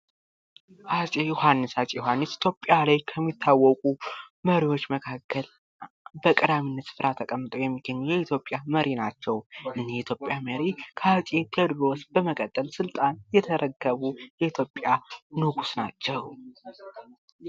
አፄ ዮሐንስ:- አፄ ዮሐንስ ኢትዮጵያ ላይ ከሚታወቁ መሪዎች መካከል በቀዳሚነት ስፍራ ተቀምጠዉ የሚገኙ የኢትዮጵያ መሪ ናቸዉ። እኝህ የኢትዮጵያ መሪ ከአፄ ቴወድሮስ በመቀጠል ስልጣን የተረከቡ የኢትዮጵያ ንጉስ ናቸዉ።